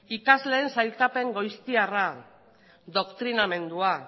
ikasleen sailkapen goiztiarra doktrinamendua